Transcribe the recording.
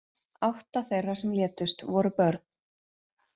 Átta þeirra sem létust voru börn